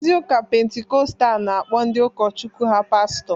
Ndị Ụka Pentikọstal na-akpọ ndị ụkọchukwu ha Pastọ